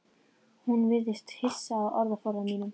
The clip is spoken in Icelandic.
Hún virðist hissa á orðaforða mínum.